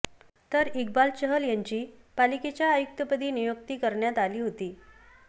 तर इक्बाल चहल यांची पालिकेच्या आयुक्तपदी नियुक्ती करण्यात आली होती